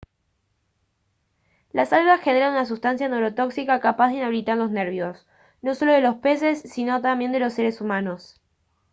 las algas generan una sustancia neurotóxica capaz de inhabilitar los nervios no solo de los peses sino también de los seres humanos